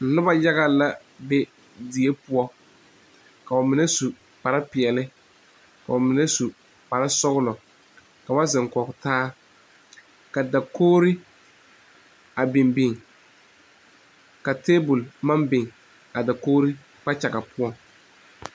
Noba yaga la be die poɔ k'o mine su kpare peɛle k'o mine su kpare sɔgla ka ba zeŋ kɔge taa ka dakogri a biŋ biŋ ka tebol maŋ biŋ a dokogri kpakyaga poɔ.